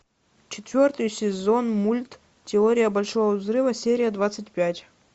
четвертый сезон мульт теория большого взрыва серия двадцать пять